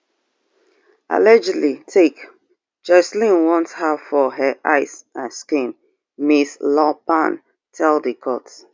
[allegedly take] joshlin want her for her eyes and skin Ms. lomban tell di court